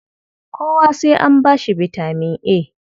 Kowa sai an ba shi bitaman A.